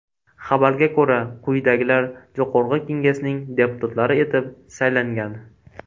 Xabarga ko‘ra, quyidagilar Jo‘qorg‘i Kengesning deputatlari etib saylangan.